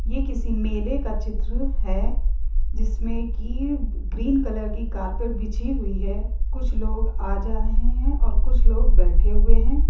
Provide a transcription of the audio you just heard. ये एक किसी मेले का चित्र है जिसमें की ग्रीन कलर की कारपेट बिछी हुई है कुछ लोग आ जा रहे हैं और कुछ लोग बैठे हुए हैं।